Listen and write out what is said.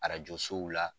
Arajo sow la